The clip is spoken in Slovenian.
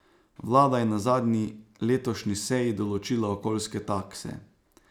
Vlada je na zadnji letošnji seji določila okoljske takse.